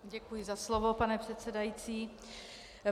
Děkuji za slovo, pane předsedající.